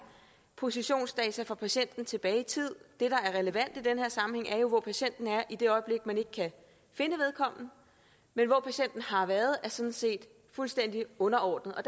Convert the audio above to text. positionsdata for patienten tilbage i tid det der er relevant i den her sammenhæng er hvor patienten er i det øjeblik man ikke kan finde vedkommende men hvor patienten har været er sådan set fuldstændig underordnet